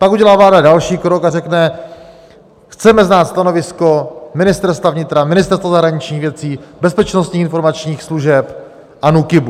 Pak udělá vláda další krok a řekne: Chceme znát stanovisko Ministerstva vnitra, Ministerstva zahraničních věcí, bezpečnostních informačních služeb a NÚKIBu.